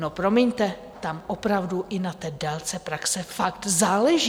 No promiňte, tam opravdu i na té délce praxe fakt záleží.